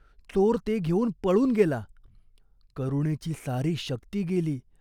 चोर ते घेऊन पळून गेला. करुणेची सारी शक्ती गेली.